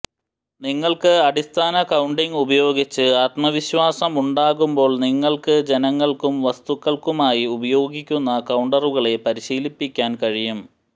നിങ്ങൾക്ക് അടിസ്ഥാന കൌണ്ടിംഗ് ഉപയോഗിച്ച് ആത്മവിശ്വാസമുണ്ടാകുമ്പോൾ നിങ്ങൾക്ക് ജനങ്ങൾക്കും വസ്തുക്കൾക്കുമായി ഉപയോഗിക്കുന്ന കൌണ്ടറുകളെ പരിശീലിപ്പിക്കാൻ കഴിയും